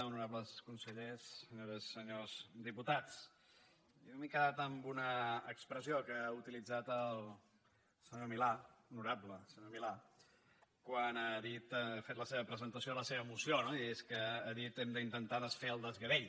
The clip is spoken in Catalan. honorables consellers senyores i senyors diputats jo m’he quedat amb una expressió que ha utilitzat el senyor milà l’honorable senyor milà quan ha fet la seva presentació de la seva moció no i és que ha dit hem d’intentar desfer el desgavell